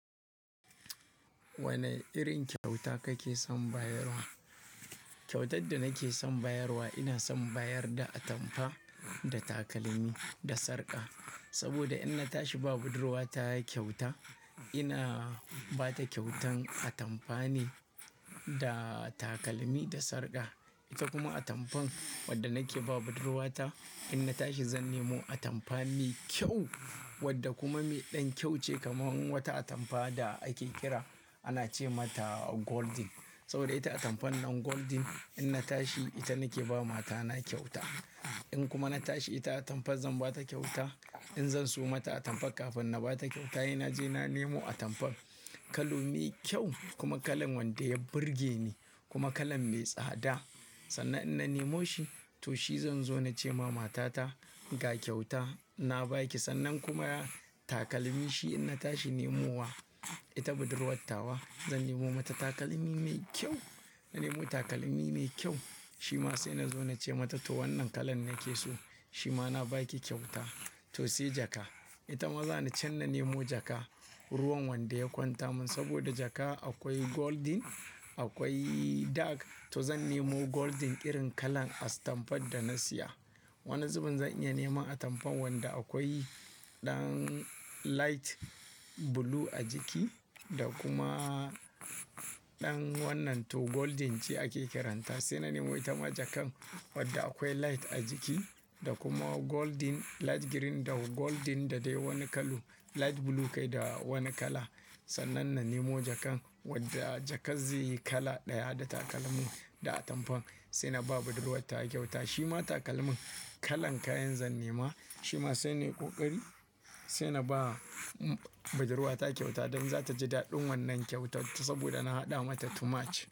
Wane irin kyauta kake son bayarwa? Kyautar da nake son bayarwa, ina son bayar da atampa da takalmi da sarƙa. Saboda in na tashi ba budurwata kyauta, ina ba ta kyautan atamfa ne, da takalmi da sarƙa. Ita kuma atamfan wadda nake ba budurwata, in na tashi zan nemo atamfa mai kyau wadda kuma mai ɗan kyau ce kamar wata atamfa da ake kira ana ce mata Golden. Saboda ita atamfan nan Golden in na tashi ita nake ba matana kyauta. In kuma na tashi ita atamfa zan ba ta kyauta, in zan siyo mata atamfa kafin na ba ta kyauta, he na je na nemo atamfan kalo mai kyau kuma kalan wanda ya burge ni kuma kalan mai tsada. Sannan in na nemo shi to shi zan zo na ce ma matata ga kyauta na baki. Sannan kuma takalmi shi in na tashi nemowa ita budurwatawa, zan nemo mata takalmi mai kyau. Na nemo takalmi mai kyau shi ma sai na zo na ce mata to wannan kalan nake so shi ma na baki kyauta. To sai jaka, ita ma za ni can na nemo jaka ruwan wanda ya kwanta min. Saboda jaka akwai Golden, akwai Dark. To zan nemo Golden irin kalan as atamfan da na siya. Wani zubin zan iya neman atamfan wanda akwai ɗan Light Blue a jiki da kuma ɗan wannan to Golden ce ake kiranta. Sai na nemo ita ma jakan wadda akwai Light a jiki da kuma Golden Light Green da Golden da dai wani kalo Light Blue kai da wani kala. Sannan na nemo jakan wadda jaka zai yi kala ɗaya da takalmin da atamfan sai na ba budurwata kyauta. Shi ma takalmin kalan kayan zan nema. Shi ma sai nai ƙoƙari sai na ba budurwata kyauta don za ta ji daɗin wannan kyautarta saboda na haɗa mata too march.